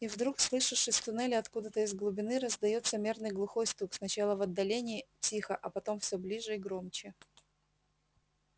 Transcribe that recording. и вдруг слышишь из туннеля откуда-то из глубины раздаётся мерный глухой стук сначала в отдалении тихо а потом всё ближе и громче